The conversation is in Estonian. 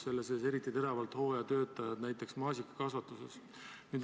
Seal vajatakse eriti teravalt hooajatöötajaid, näiteks maasikakasvatuses.